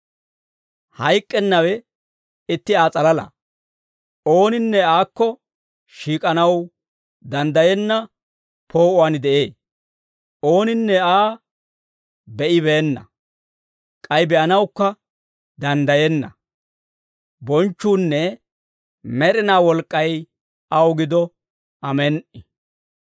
Hayk'k'ennawe itti Aa s'alalaa. Ooninne Aakko shiik'anaw danddayenna poo'uwaan de'ee. Ooninne Aa be'ibeenna; k'ay be'anawukka danddayenna. Bonchchuunne med'inaa wolk'k'ay aw gido. Amen"i.